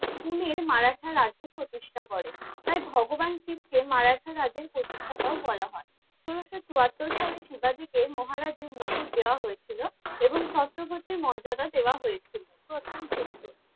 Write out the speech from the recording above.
পুনের মারাঠা রাজ্য প্রতিষ্ঠা করেন। তাই ভগবান শিবকে মারাঠা রাজ্যের প্রতিষ্ঠাতাও বলা হয়। ষোলোশো চুয়াত্তর সালে শিবাজীকে মহারাজের মুকুট দেওয়া হয়েছিল এবং ছত্রপতি মর্যাদা দেওয়া হয়েছিল। প্রথম যুদ্ধ